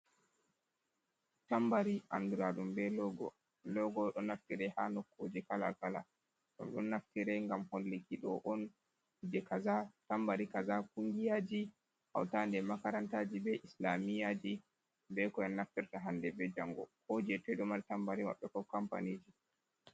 Tambari anduraɗum be logo. Logo ɗo naftire ha nokkuje kala kala don ɗon naftire ngam hollikido on kuje kaza tambari kaza kungiyaji hauta ɗe makarantaji be islamiyaji ɓe naftirta hande be jango ko je toi ɗo mari tambariji maɓɓe ko kampaniji.